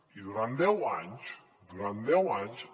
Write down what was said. i durant deu anys durant deu anys